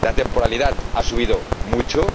La temporalidad ha subido mucho.